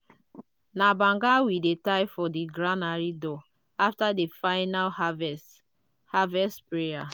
na banga we dey tie for di granary door after di final harvest harvest prayer.